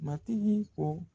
Matigi ko